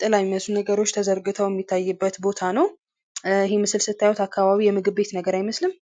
ጥላ የሚመስሉ ነገሮች ተዘርግተው ሚታይበት ቦታ ነው ። ይህ ምስል ስታዩት አካባቢ የምግብ ቤት ነገር አይመስልም?